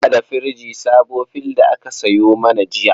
Muna da firji sabo fill da aka sayo mana jiya.